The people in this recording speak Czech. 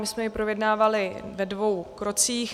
My jsme jej projednávali ve dvou krocích.